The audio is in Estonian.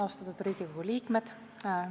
Austatud Riigikogu liikmed!